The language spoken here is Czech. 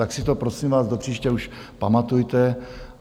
Tak si to, prosím vás, do příště už pamatujte.